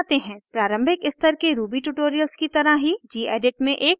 प्रारंभिक स्तर के ruby ट्यूटोरियल की तरह ही gedit में एक नयी फाइल बनायें